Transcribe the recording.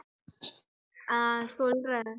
ஆஹ் சொல்றேன்